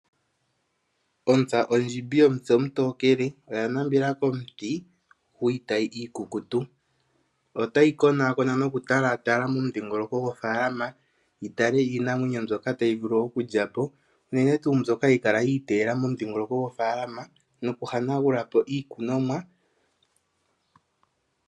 Ontsa ondjimbi yomutse omutokele oya nambela komuti gwiitayi iikukutu, otayi konaakona noku tala momudhingoloko gofaalama yi tale iinamwenyo mbyoka tayi vulu okulya po unene tuu mbyoka hayi kala yi teela momudhingoloko gofaalama noku hanagula po iikunonwa.